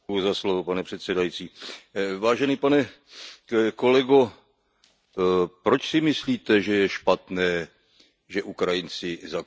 Vážený pane kolego, proč si myslíte, že je špatné, že Ukrajinci zakázali komunistickou stranu?